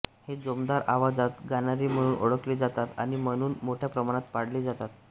हे जोमदार आवाजात गाणारे म्हणून ओळखले जातात आणि म्हणून मोठ्या प्रमाणात पाळले जातात